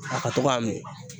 a ka to k'a min;